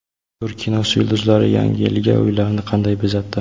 Turk kinosi yulduzlari Yangi yilga uylarini qanday bezatdi?